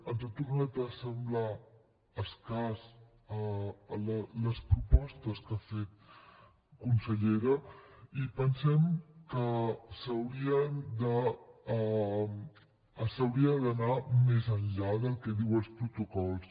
ens han tornat a semblar escasses les propostes que ha fet consellera i pensem que s’hauria d’anar més enllà del que diuen els protocols